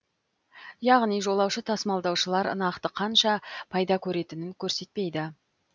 яғни жолаушы тасымалдаушылар нақты қанша пайда көретінін көрсетпейді